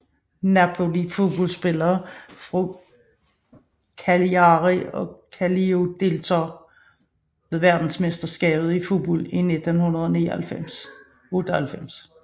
Napoli Fodboldspillere fra Cagliari Calcio Deltagere ved verdensmesterskabet i fodbold 1998